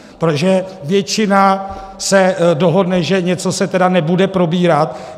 Protože většina se dohodne, že něco se tedy nebude probírat?